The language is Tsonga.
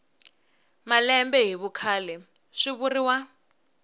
malembe hi vukhale swi vuriwa